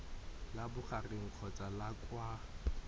la bogareng kgotsa la kwa